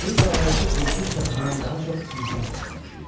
Bu zarıltı qurd-quş səsindən daha çox insan səsinə oxşayırdı.